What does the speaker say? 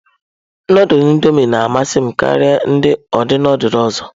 Nudulu Indọmịị na-amasị m karịa ụdị nudulu ọzọ.